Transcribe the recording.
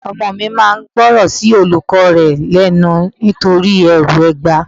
Ọmọ mi máa ń gbóran sí olùkọ́ rẹ lẹ́nu nítorí ẹrù ẹgba.